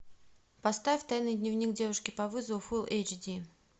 поставь тайный дневник девушки по вызову фулл эйч ди